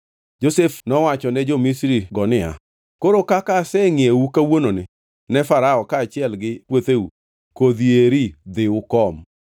Josef nowacho ne jo-Misri-go niya, “Koro kaka asengʼiewou kawuononi ne Farao kaachiel gi puotheu, kodhi eri dhi ukom.